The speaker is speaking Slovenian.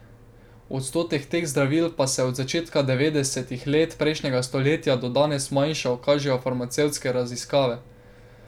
Odstotek teh zdravil pa se je od začetka devetdesetih let prejšnjega stoletja do danes manjšal, kažejo farmacevtske raziskave.